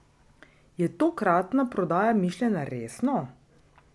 Je tokratna prodaja mišljena resno?